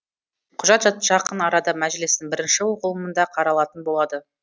құжат жақын арада мәжілістің бірінші оқылымында қаралатын болады